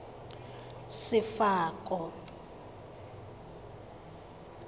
sefako